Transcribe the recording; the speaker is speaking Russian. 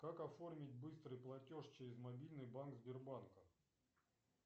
как оформить быстрый платеж через мобильный банк сбербанка